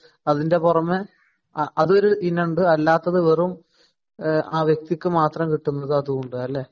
അതിന്റെ പുറമെ അതൊരു ഇനമുണ്ട് അല്ലാത്തത് വെറും ആ വ്യക്തിക്ക് മാത്രം കിട്ടുന്നത് അതുണ്ട് അല്ലേ?